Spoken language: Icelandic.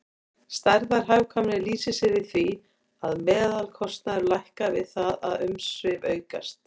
Stærðarhagkvæmni lýsir sér í því að meðalkostnaður lækkar við það að umsvif aukast.